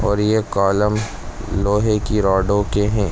और ये कॉलम लोहे की रॉडों के हैं।